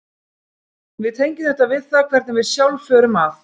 Við tengjum þetta við það hvernig við sjálf förum að.